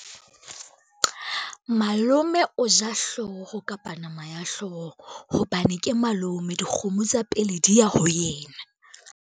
Malome o ja hlooho kapa nama ya hlooho hobane ke malome, dikgomo tsa pele di ya ho yena.